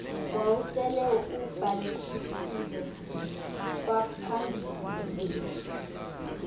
wawusele ubhalisile ngaphambili